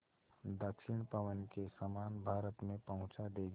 दक्षिण पवन के समान भारत में पहुँचा देंगी